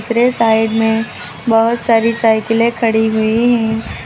दूसरे साइड में बहुत सारी साइकिलें खड़ी हुई हैं।